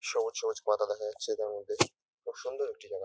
সবুজ সবুজ পাতা দেখা যাচ্ছে তার মধ্যে খুব সুন্দর একটি জাগা |